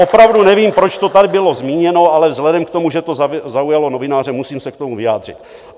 Opravdu nevím, proč to tady bylo zmíněno, ale vzhledem k tomu, že to zaujalo novináře, musím se k tomu vyjádřit.